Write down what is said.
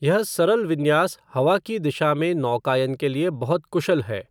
यह सरल विन्यास हवा की दिशा में नौकायन के लिए बहुत कुशल है।